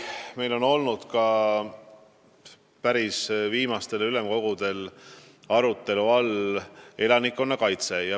Meil on päris viimastel ülemkogudel arutelu all olnud ka elanikkonnakaitse.